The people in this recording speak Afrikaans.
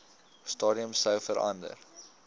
stadium sou verander